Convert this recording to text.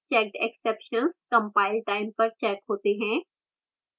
checked exceptions compile time पर checked होते हैं